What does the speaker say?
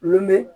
Lu